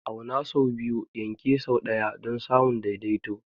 Auna sau biyu, yanke sau ɗaya don samun daidaito.